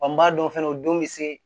Wa n b'a dɔn fana o don bɛ se